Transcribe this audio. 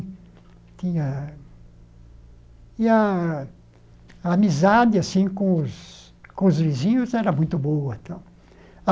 Tinha e a a amizade assim com os com os vizinhos era muito boa tal.